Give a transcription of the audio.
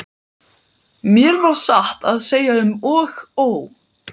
Mér varð satt að segja um og ó.